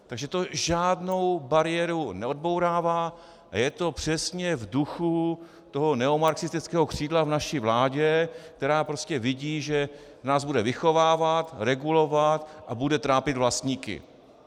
Takže to žádnou bariéru neodbourává a je to přesně v duchu toho neomarxistického křídla v naší vládě, která prostě vidí, že nás bude vychovávat, regulovat a bude trápit vlastníky.